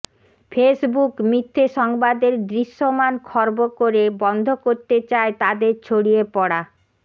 Facebook মিথ্যে সংবাদের দৃশ্যমান খর্ব করে বন্ধ করতে চায় তাদের ছড়িয়ে পড়া